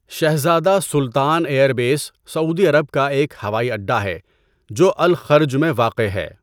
شہزادہ سلطان air base سعودی عرب کا ایک ہوائی اڈا ہے جو الخرج میں واقع ہے۔